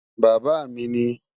Bàbá mi ní